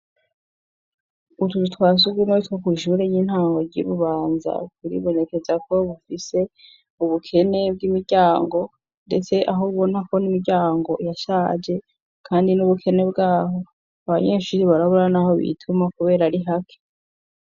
Utuzu twa surwumwe two kw' ishure y'intango ry'i Bubanza turibonekeza ko dufise ubukene bw'imiryango, ndetse aho ubona ko n'imiryango yashaje kandi n'ubukene bwaho abanyeshuri barabura naho bituma kubera ari hake